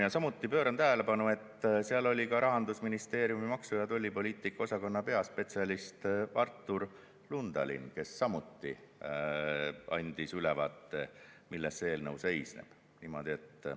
Ja samuti pööran tähelepanu, et seal oli ka Rahandusministeeriumi maksu- ja tollipoliitika osakonna peaspetsialist Artur Lundalin, kes samuti andis ülevaate, milles eelnõu seisneb.